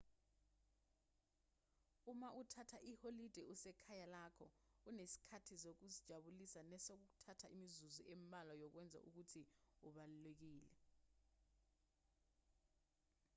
uma uthatha iholide usekhaya lakho unesikhathi sokuzijabulisa nesokuthatha imizuzu embalwa yokwenza okuthile okubalulekile